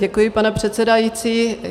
Děkuji pane předsedající.